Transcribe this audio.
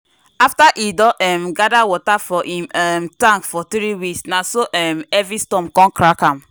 after him don um gather water for him um tank for three weeks na so um heavy storm con crack am.